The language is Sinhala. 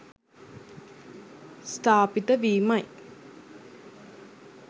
ස්ථාපිත වීමයි.